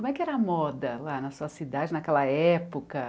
Como é que era a moda lá na sua cidade, naquela época?